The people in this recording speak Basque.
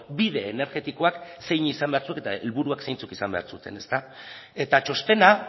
bide energetikoak zein izan behar zuen eta helburuak zeintzuk izan behar zuten eta txostena